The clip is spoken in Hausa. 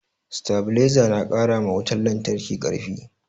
Satabiliza na karama wutan lantraki karfi